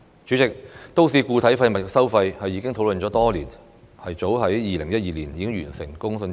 主席，都市固體廢物收費已經討論多年，早在2012年完成公眾諮詢。